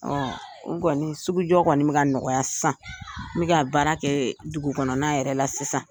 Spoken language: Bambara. o kɔni sugu jɔ kɔni bɛ ka nɔgɔya sisan n bɛ ka baara kɛ dugukɔnɔ na yɛrɛ la sisan.